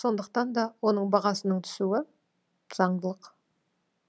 сондықтан да оның бағасының түсуі заңдылық